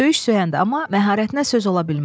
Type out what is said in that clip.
Söyüş söyəndə, amma məharətinə söz ola bilməz.